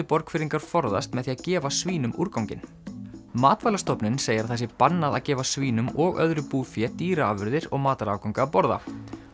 Borgfirðingar forðast með því að gefa svínum úrganginn segir að það sé bannað að gefa svínum og öðru búfé dýraafurðir og matarafganga að borða